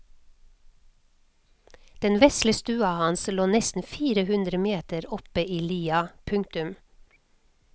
Den vesle stua hans lå nesten fire hundre meter oppe i lia. punktum